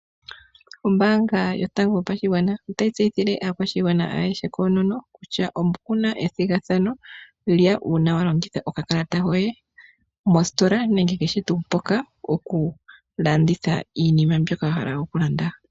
Ombaanga yotango yopashigwana otayi tseyithile aantu kutya oku na ethigathano, uuna wa longitha oka kalata koye mostola nenge mpoka puna iinima mbyoka wa hala okulanda.